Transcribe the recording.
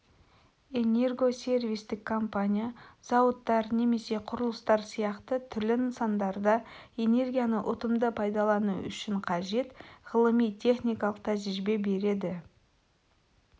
энергосервистік компания зауыттар немесе құрылыстар сияқты түрлі нысандарда энергияны ұтымды пайдалану үшін қажет ғылыми техникалық тәжірибе береді